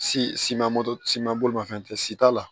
Si siman moto siman bolimafɛn tɛ si t'a la